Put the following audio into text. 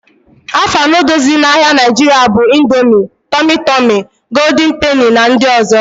Afa noodules dị n'ahia Nigeria bụ Indomie, Tumi Tumi, Gooldin Peni na ndị ọzọ